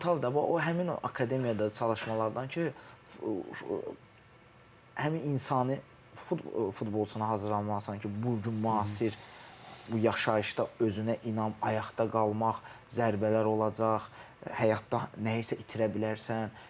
O mental da, həmin o akademiyada çalışmalardandır ki, həmin insani futbolçunun hazırlanması sən ki, bu gün müasir bu yaşayışda özünə inam, ayaqda qalmaq, zərbələr olacaq, həyatda nəyisə itirə bilərsən.